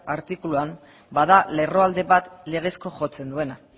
artikuluan bada lerroalde bat legezko jotzen duena